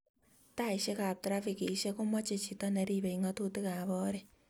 Taishek ab trafikishek komache chito niripei ngatukik ab oret